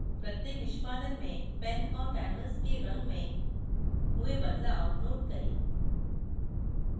प्रत्येक निष्पादन में pen और canvas के रंग में हुए बदलाव note करें